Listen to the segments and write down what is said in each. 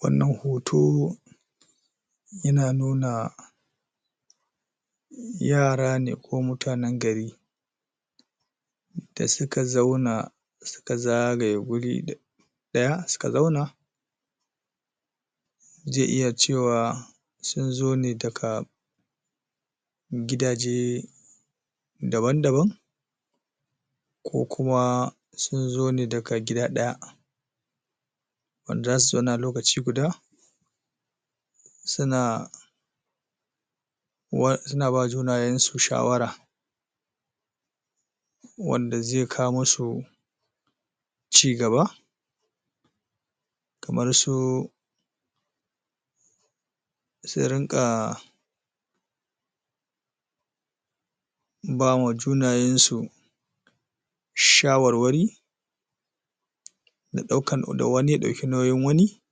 Wannan hoto yana nuna yara ne ko mutanan gari da suka zauna suka zagaye wuri d ɗaya suka zauna zai iya cewa sunzo ne daga gidaje daban daban ko kuma sunzo ne daga gida ɗaya wanda zasu zauna lokaci guda suna wa suna bawa junayen su shawara wanda zai kawo musu cigaba kamar su su ringa bama junayen su shawarwari da ɗaukar, da wani ya ɗauki nauyin wani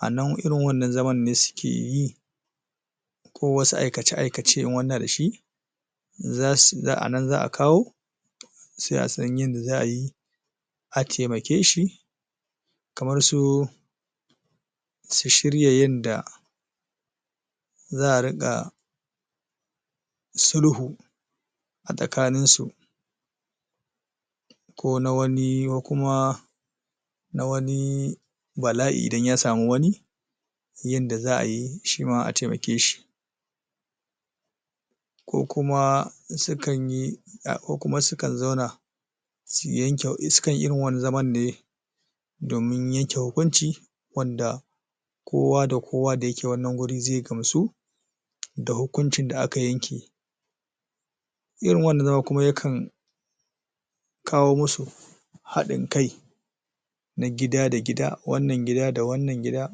a nan irin wannan zaman ne suke yi ko wasu aikace-aikace in wani yana dashi zasu a nan za'a kawo sai a san yadda za'a yi a taimake shi kamar su su shirya yadda za'a riƙa sulhu a tsakanin su ko nawani, ko kuma na wani bala'i idan ya samu wani yadda za'a yi shima a taimake shi ko kuma sukan yi ko kuma sukan zauna su yanke, in sukai irin wannan zaman ne domin yanke hukunci wanda kowa da kowa da yake wannan wurin zai gamsu da hukuncin da aka yanke irin wannan zaman kuma yakan kawo musu haɗin kai na gida da gida, wannan gida da wannan gida,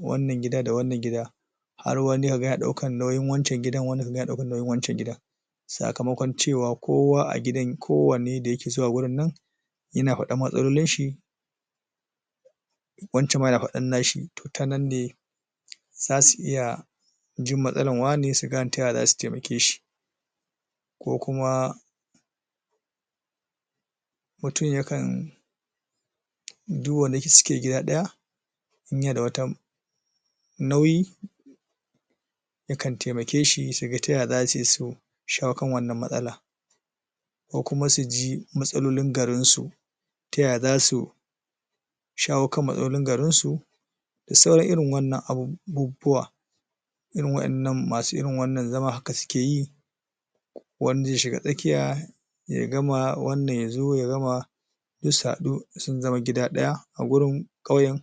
wannan gida da wannan gida har wani yaga ya ɗaukan nauyin wancan gidan, wani kaga yana ɗaukan nauyin wancan gidan sakamakon cewa kowa a gidan kowane da yake zuwa wurin nan yana faɗan matsalolin shi wancan ma na faɗar nashi ta nan ne zasu iya jin matsalar wane su gane taya zasu taimake shi ko kuma mutum yakan duk wanda yake, suke gida ɗaya in yana da wat nauyi yakan taimake shi suga taya zasi su shawo kan wanan matsalar ko kuma suji matsalolin garin su taya zasu shayo kan matsalolin garin su da sauran irin wannan abubuwa rin wa'yannan masu irin wannan zaman haka suke wanda zai shiga tsakiya ya gama, wannan yazo oya gama suzo su faɗu sun zama gida ɗaya a wurin ƙauyen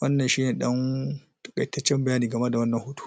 wannan shine ɗan takaitaccen bayani game da wannan hoto